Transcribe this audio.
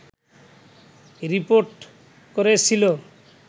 report করেছিল